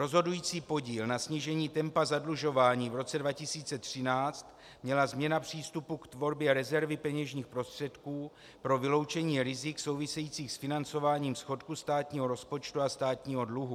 Rozhodující podíl na snížení tempa zadlužování v roce 2013 měla změna přístupu k tvorbě rezervy peněžních prostředků pro vyloučení rizik souvisejících s financováním schodku státního rozpočtu a státního dluhu.